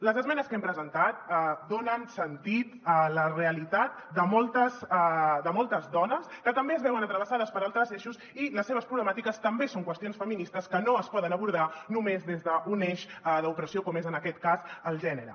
les esmenes que hem presentat donen sentit a la realitat de moltes dones que també es veuen travessades per altres eixos i les seves problemàtiques també són qüestions feministes que no es poden abordar només des d’un eix d’opressió com és en aquest cas el gènere